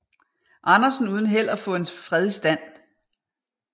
Andersen uden held at få en fred i stand